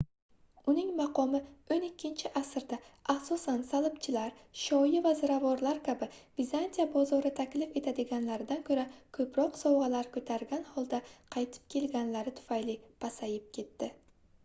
uning maqomi oʻn ikkinchi asrda asosan salbchilar shoyi va ziravorlar kabi vizantiya bozori taklif etadiganlaridan koʻra koʻproq sovgʻalar koʻtargan holda qaytib kelganlari tufayli pasayib ketdi